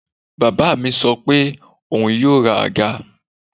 Bàbá mi sọ pé òun yóò ra àga